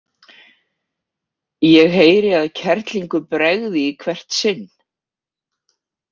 Ég heyri að kerlingu bregði í hvert sinn.